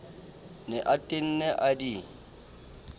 ne a tenne a di